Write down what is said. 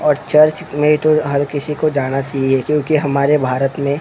और चर्च नहीं तो हर किसी को जाना चाहिए क्योंकि हमारे भारत में--